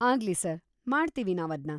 ಆಗ್ಲಿ ಸರ್‌, ಮಾಡ್ತೀವಿ ನಾವದ್ನ.